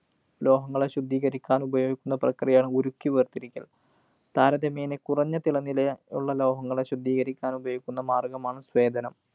ലോഹങ്ങളെ ശുദ്ധീകരിക്കാന്‍ ഉപയോഗിക്കുന്ന പ്രക്രിയയാണ് ഉരുക്കി വേര്‍തിരിക്കല്‍. താരതമ്യേന കുറഞ്ഞ തിളനില ഉള്ള ലോഹങ്ങളെ ശുദ്ധീകരിക്കാനുപയോഗിക്കുന്ന മാര്‍ഗ്ഗമാണ് സ്വേദനം.